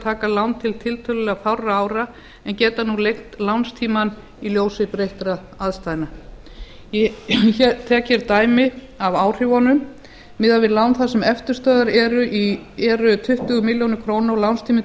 taka lán til tiltölulega fárra ára en geta nú lengt lánstímann í ljósi breyttra aðstæðna ég tek hér dæmi af áhrifunum miðað við lán þar sem eftirstöðvar eru tuttugu milljónir króna og lánstíminn